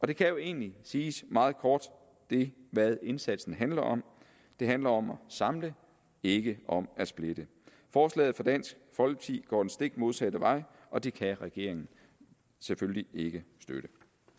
det kan jo egentlig siges meget kort hvad indsatsen handler om den handler om at samle ikke om at splitte forslaget fra dansk folkeparti går den stik modsatte vej og det kan regeringen selvfølgelig ikke støtte